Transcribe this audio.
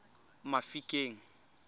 mafikeng